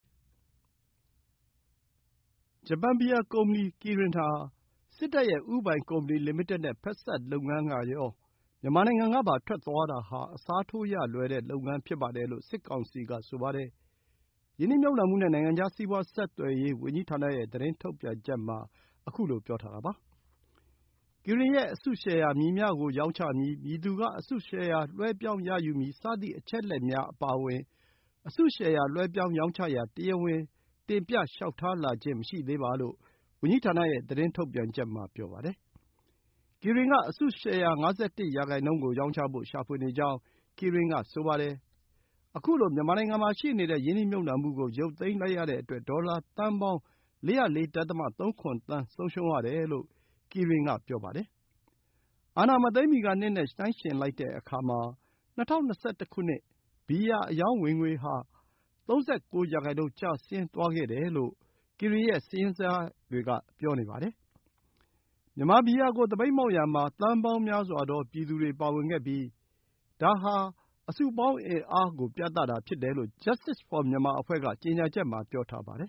ဂျပန် ဘီယာကုမ္ပဏီ Kirin က စစ်တပ်ရဲ့ဦးပိုင်ကုမ္ပဏီလိမိတက်နဲ့ ဖက်စပ်လုပ်ငန်းကရော မြန်မာနိုင်ငံကပါ ထွက်သွားတာဟာ အစားထိုးရလွယ်တဲ့လုပ်ငန်းဖြစ်ပါတယ်လို့ စစ်ကောင်စီက ဆိုပါတယ်။ ရင်းနှီးမြှုပ်နှံမှုနဲ့ နိုင်ငံခြား စီးပွါးဆက်သွယ်ရေးဝန်ကြီးဌာနရဲ့ သတင်းထုတ်ပြန်ချက်မှာ ခုလို ပြောထားတာပါ။ ကီရင်ရဲ့အစုရှယ်ယာ “မည်မျှကို ရောင်းချမည်၊ မည်သူက အစုရှယ်ယာလွှဲပြောင်းရယူမည် စသည့် အချက်အလက်များ အပါအဝင် အစုရှယ်ယာ လွှဲပြောင်းရောင်းချရန် တရားဝင် တင်ပြလျှောက်ထားလာခြင်း မရှိသေးပါ” လို့ ဝန်ကြီးဌာနရဲ့ သတင်းထုတ်ပြန်ချက်မှာ ပြောပါတယ်။ ကီရင်ရဲ့အစုရှယ်ယာ ၅၁ ရာနှုန်းကို ရောင်းချဖို့ရှာဖွေနေကြောင်း ကီရင်က ပြောပါတယ်။ ခုလို မြန်မာနိုင်ငံမှာ ရှိနေတဲ့ ရင်းနှီးမြှုပ်နှံမှုကို ရုပ်သိမ်းလိုက်ရတဲ့အတွက် ဒေါ်လာသန်းပေါင်း ၄၀၄.၃၇ သန်း ဆုံးရှုံးတယ်လို့ ကီရင် က ဆိုပါတယ်။ အာဏာမသိမ်းမီကနှစ်နဲ့ နှိုင်းယှဉ်လိုက်တဲ့အခါ ၂၀၂၁ ဘီယာ အရောင်းဝင်ငွေက ၃၉ % ကျဆင်းသွားခဲ့တာ ကို Kirin ရဲ့ စာရင်းဇယားတွေက ပြသနေပါတယ်။ မြန်မာဘီယာကို သပိတ်မှောက်ရာမှာ သန်းပေါင်းများစွာသော ပြည်သူတွေပါဝင်ခဲ့ပြီး ဒါဟာ အစုအပေါင်း အင်အားကို ပြသတာဖြစ်တယ်လို့ Justice for Myanmar အဖွဲ့က ကြေညာချက်မှာ ပြောထားပါတယ်